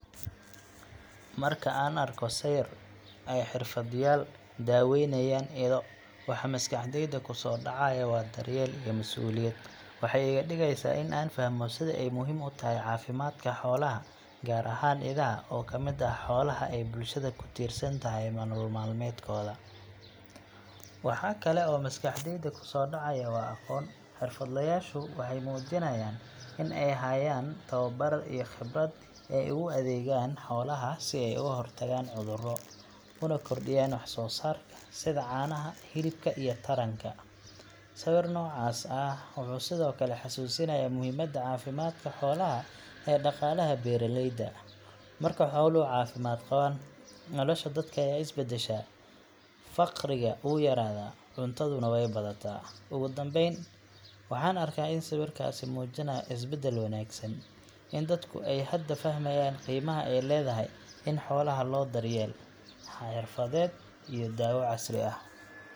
Marka aan arko sawir ay xirfadlayaal daweynayaan ido, waxa maskaxdayda ku soo dhacaya waa daryeel iyo mas’uuliyad. Waxay iga dhigeysaa in aan fahmo sida ay muhiim u tahay caafimaadka xoolaha, gaar ahaan idaha oo ka mid ah xoolaha ay bulshada ku tiirsan tahay nolol maalmeedkooda. Waxa kale oo maskaxdayda ku soo dhacaya waa aqoon xirfadlayaashu waxay muujinayaan in ay hayaan tababar iyo khibrad ay ugu adeegayaan xoolaha si ay uga hortagaan cudurro, una kordhiyaan wax-soo-saarka sida caanaha, hilibka iyo taranka. Sawir noocaas ah wuxuu sidoo kale xasuusinayaa muhiimadda caafimaadka xoolaha ee dhaqaalaha beeraleyda. Marka xooluhu caafimaad qabaan, nolosha dadka ayaa is beddesha, faqriga wuu yaraadaa, cuntaduna way badataa. Ugu dambeyn, waxaan arkaa in sawirkaasi muujinayo isbeddel wanaagsan in dadku ay hadda fahmayaan qiimaha ay leedahay in xoolaha loo helo daryeel xirfadeed iyo daawo casri ah.